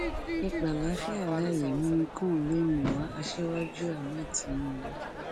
ẹ gba àlàáfíà láàyè mìmì kan kó lè mìwà aṣíwájú ahmed tinubu